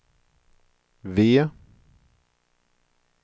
V